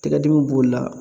Tɛgɛ dimi b'olu la